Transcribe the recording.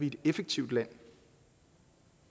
et effektivt land